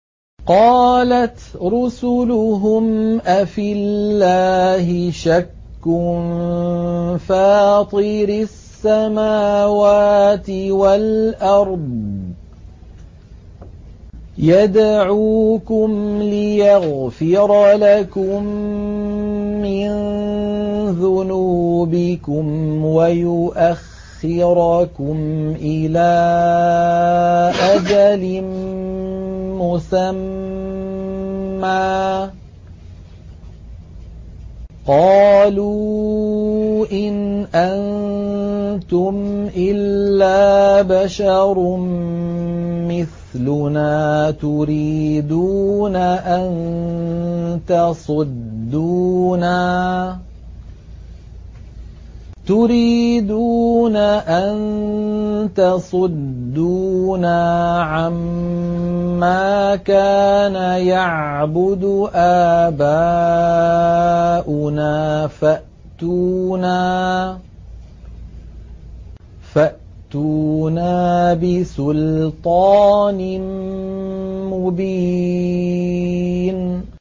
۞ قَالَتْ رُسُلُهُمْ أَفِي اللَّهِ شَكٌّ فَاطِرِ السَّمَاوَاتِ وَالْأَرْضِ ۖ يَدْعُوكُمْ لِيَغْفِرَ لَكُم مِّن ذُنُوبِكُمْ وَيُؤَخِّرَكُمْ إِلَىٰ أَجَلٍ مُّسَمًّى ۚ قَالُوا إِنْ أَنتُمْ إِلَّا بَشَرٌ مِّثْلُنَا تُرِيدُونَ أَن تَصُدُّونَا عَمَّا كَانَ يَعْبُدُ آبَاؤُنَا فَأْتُونَا بِسُلْطَانٍ مُّبِينٍ